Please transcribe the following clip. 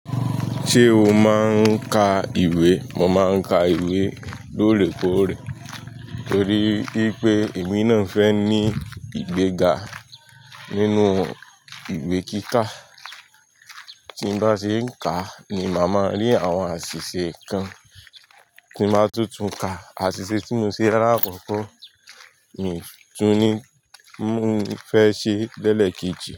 Ṣé o máa ń ka ìwé? Mo máa ń ka ìwé lóòrèkóòrè torí wípé èmi náà fẹ́ ní ìgbéga nínú ìgbé kíkà. Tí n bá ṣe ń kàá ni màá máa rí àwọn àṣìṣe kan tí n bá tún tún ka. Àṣìṣe tí mo ṣe lálá kọ́kọ́ mi tún ni mò ń fẹ́ ṣe lẹẹ́lẹ̀ẹ̀kejì.